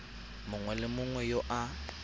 mongwe le mongwe yo a